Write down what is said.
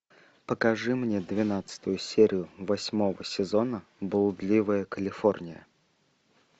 покажи мне двенадцатую серию восьмого сезона блудливая калифорния